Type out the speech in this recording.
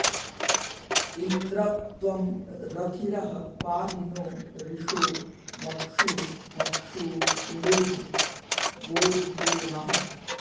इन्द्र॒ त्वं र॑थि॒रः पा॑हि नो रि॒षो म॒क्षूम॑क्षू कृणुहि गो॒जितो॑ नः